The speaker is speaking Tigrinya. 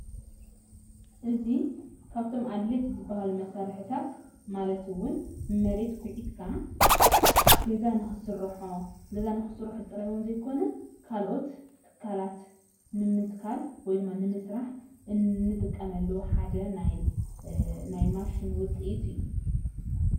እዚ ካፍቶም ኣድለይቲ ዝበሃሉ መሣርሕታት ማለት እውን መሬት ኩዕትካ ዝግበርእዩ።